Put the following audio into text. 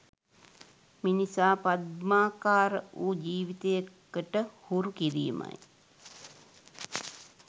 මිනිසා පද්මාකාර වූ ජීවිතයකට හුරු කිරීමයි.